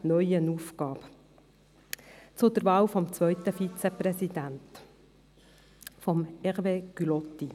Zur Wahl des zweiten Vizepräsidenten, Hervé Gullotti: